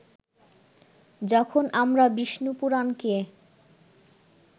যখন আমরা বিষ্ণুপুরাণকে